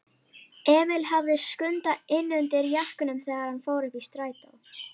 Emil hafði Skunda innundir jakkanum þegar hann fór uppí strætó.